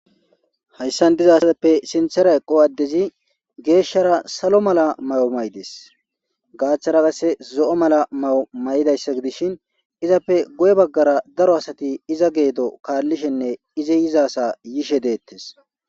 Hayisa giddoni diza asatappe sinthara eqo adezi geshshara salo mala mayo mayideesi gathara qase zoo mayo mayidayisa gidishin izappe guye bagara daro asati iza kalishenne izi yizasa yishe deetesi